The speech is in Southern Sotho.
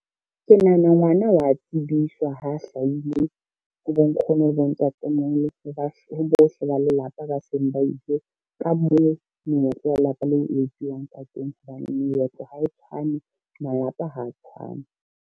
Ke nahana ngwana wa tsebiswa ha hlahile, ho bonkgono le bontatemoholo ho bohle ba lelapa ba seng ba ile, ka moo meetlo ya lelapa leo e etsuwang ka teng, hobane meetlo ha e tshwane, malapa ha tshwane.